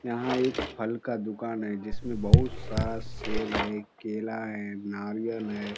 यहां एक फल का दुकान है जिसमे बहुत बहुत सारा सेब है केला है नारियल है।